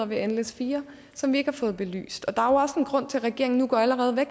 med nles4 som vi ikke har fået belyst og der også en grund til at regeringen allerede